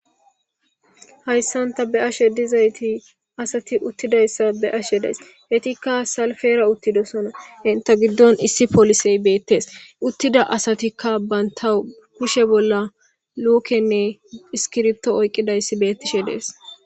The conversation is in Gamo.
Hayssan tha be7ashee dizaythi asathi uththidayssa be7ashee de7ays; ethikka selppee uththidosona; henththe giddon issi polisee beethees; uththida asathikka banththa kushe bolla lookenne iskkiriththo oyqqizayssi beeththishee de7ees.